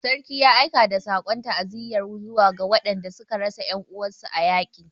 Sarki ya aika da sakon ta'aziyarsa zuwa ga waɗanda suka rasa 'yan uwansu a yaƙi